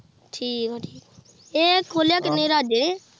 ਠੀਕ ਏ ਠੀਕ ਇਹ ਖੋਲਿਆ ਕਿੰਨੇ ਰਾਜੇ।